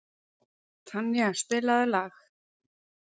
Tanía, spilaðu lag.